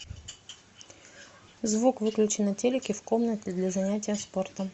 звук выключи на телике в комнате для занятия спортом